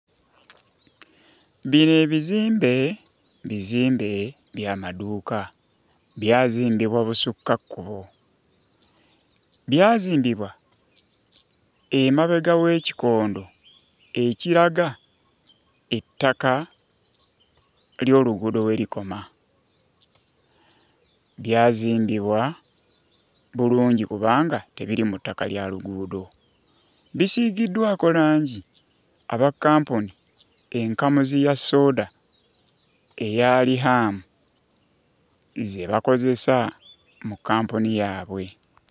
Bino ebizimbe bizimbe by'amaduuka, byazimbibwa busukka kkubo, byazimbibwa emabega w'ekikondo ekiraga ettaka ly'oluguudo we likoma. Byazimbibwa bulungi kubanga tebiri mu ttaka ya luguudo, bisiigiddwako langi abakkampuni enkamuzi ya sooda eya Riham ze bakozesa mu kkampuni yaabwe.